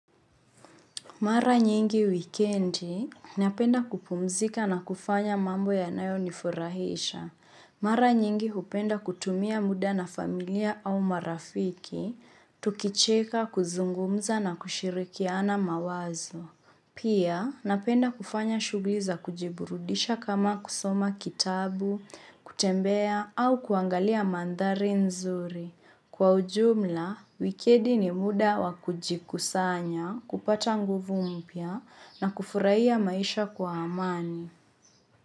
Mara nyingi wikendi, napenda kupumzika na kufanya mambo yanayo nifurahisha. Mara nyingi hupenda kutumia muda na familia au marafiki, tukicheka, kuzungumza na kushirikiana mawazo. Pia, napenda kufanya shugli za kujiburudisha kama kusoma kitabu, kutembea au kuangalia mandhari nzuri. Kwa ujumla, wikendi ni muda wakujikusanya kupata nguvu mpya na kufurahia maisha kwa amani.